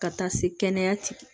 Ka taa se kɛnɛya tigi